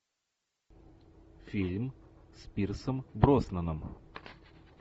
фильм с пирсом броснаном